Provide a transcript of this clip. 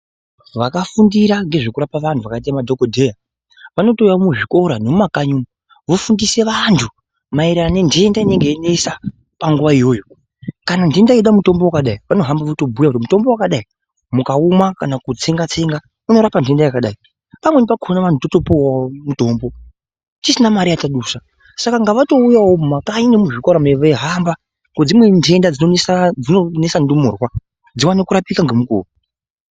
Vakafundira ngezvekurapa antu vakaite madhokodheya vanotouya muzvikora nemumakanyi umu vofundisa vantu maererano nententa inenge yeinesa panguwa iyoyo. Kana ntenta yeida mutombo wakadi vanohamba votobuya kuti mutombo wakadai mukaumwa kana kutsenga-tsenga unorapa ntenta yakadai. Pamweni pakona totopuwawo mutombo tisina mare yatadusa, saka ngavatouyawo mumakanyi nemuzvikora veihamba ngekuti dzimweni ntenta dzinonesa ndumurwa dziwane kurapika ngemukuwo.